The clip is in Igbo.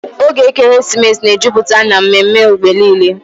Oge ekeresimesi na-ejupụta n'ememe mgbe niile